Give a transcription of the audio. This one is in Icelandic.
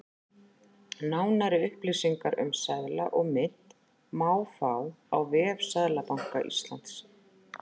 Nánari upplýsingar um seðla og mynt má fá á vef Seðlabanka Íslands.